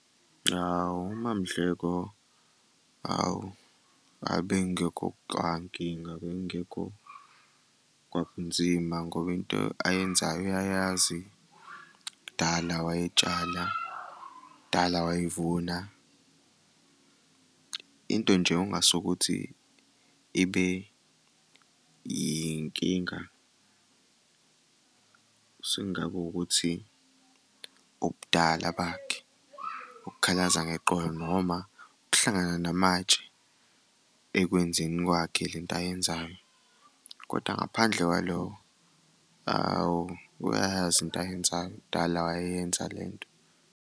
Hhawu uMamDleko, hhawu ayi bekungekho kwankinga, bekungekho kwakunzima ngoba into ayenzayo uyayazi kudala wayetshala, kudala wayevuna. Into nje ongase ukuthi ibe yinkinga, sekungaba ukuthi ubudala bakhe, ukukhalaza ngeqolo noma ukuhlangana namatshe ekwenzeni kwakhe le nto ayenzayo, kodwa ngaphandle kwalokho, hhawu uyayazi into ayenzayo kudala wayeyenza le nto.